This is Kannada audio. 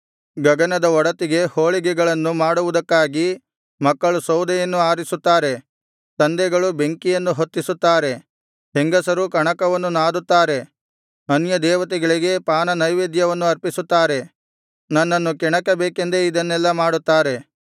ಗಗನದ ಒಡತಿಗೆ ಹೋಳಿಗೆಗಳನ್ನು ಮಾಡುವುದಕ್ಕಾಗಿ ಮಕ್ಕಳು ಸೌದೆಯನ್ನು ಆರಿಸುತ್ತಾರೆ ತಂದೆಗಳು ಬೆಂಕಿಯನ್ನು ಹೊತ್ತಿಸುತ್ತಾರೆ ಹೆಂಗಸರು ಕಣಕವನ್ನು ನಾದುತ್ತಾರೆ ಅನ್ಯದೇವತೆಗಳಿಗೆ ಪಾನನೈವೇದ್ಯವನ್ನು ಅರ್ಪಿಸುತ್ತಾರೆ ನನ್ನನ್ನು ಕೆಣಕಬೇಕೆಂದೇ ಇದನ್ನೆಲ್ಲಾ ಮಾಡುತ್ತಾರೆ